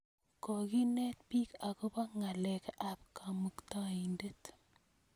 Kokinet piik akopo ng'alek ap Kamuktaindet.